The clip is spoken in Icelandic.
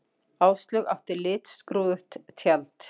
Áslaug átti litskrúðugt tjald